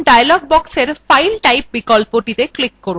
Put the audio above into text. এখন dialog বক্সের file type বিকল্পটিতে click করুন